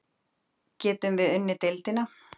Getum við unnið deildina?